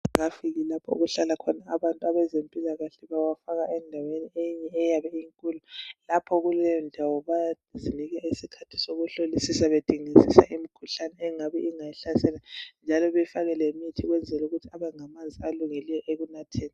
Amanzi engafiki lapho abantu abezempilakahle bawafaka kweyinye indawo yabe inkulu. Lapho kuleyondawo bayadingisisa behlolisisa imikhuhlane engabe iyihlasele. Njalo befaka lemithi kwenzela ukuthi abengamanzi alungileyo ekunatheni.